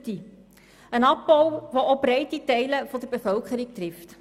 Es ist ein Abbau, der auch breite Kreise der Bevölkerung trifft.